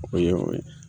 O ye o ye